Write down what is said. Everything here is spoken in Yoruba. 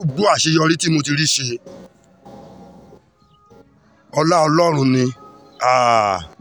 gbogbo àṣeyọrí tí mo ti rí ṣe ọlá ọlọ́run ni um